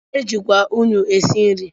E jikwa unyị esi nri.